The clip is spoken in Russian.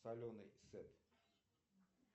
соленый сет